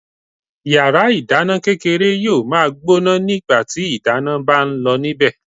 Yàrá ìdáná kékeré yóò ma gbóná nígbàtí ìdáná ń bá ń lọ níbẹ̀.